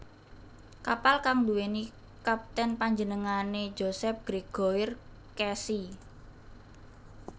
Kapal kang nduwèni kaptènpanjenengané Joseph Grégoire Casy